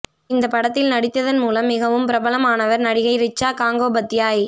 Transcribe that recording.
இந்தப் படத்தில் நடித்ததன் மூலம் மிகவும் பிரபலமானவர் நடிகை ரிச்சா காங்கோபத்யாய்